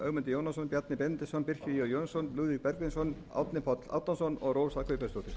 jónasson bjarni benediktsson birkir j jónsson lúðvík bergvinsson árni páll árnason og rósa guðbjartsdóttir